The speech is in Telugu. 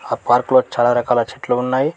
ఆ పార్కులో చాలా రకాల చెట్లు ఉన్నాయి.